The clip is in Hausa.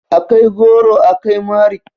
A kai gwauro, a kai mari.